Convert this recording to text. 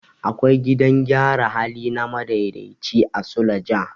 Akwai gidan gyara hali na madaidaici a suleja.